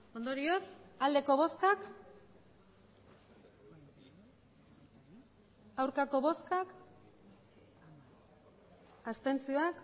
emandako botoak hirurogeita